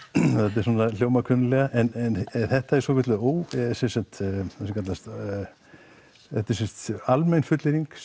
þetta hljómar kunnuglega þetta er sem sagt sem kallast almenn fullyrðing